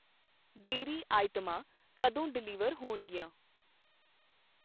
Diary ਆਈਟਮਾਂ ਕਦੋ deliver ਹੋਣਗੀਆਂ ?